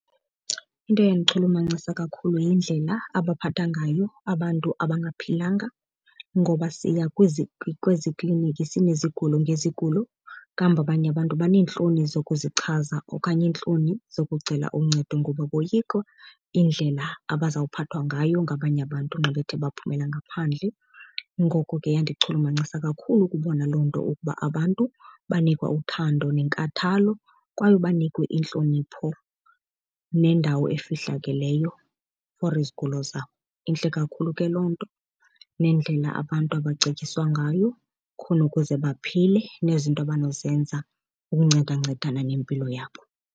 Into eyandichulumancisa kakhulu yindlela abaphatha ngayo abantu abangaphilanga. Ngoba siya kwezi kliniki sinezigulo ngezigulo, kambe abanye abantu baneentloni zokuzichaza okanye iintloni zokucela uncedo ngoba boyika indlela abazawuphathwa ngayo ngabanye abantu nxa bethe baphumelela ngaphandle. Ngoko ke yandichulumancisa kakhulu ukubona loo nto ukuba abantu banikwa uthando nenkathalo kwaye banikwe intlonipho nendawo efihlakeleyo for izigulo zabo. Intle kakhulu ke loo nto nendlela abantu abacetyiswa ngayo khona ukuze baphile nezinto abanozenza ukuncedancedana nempilo yabo.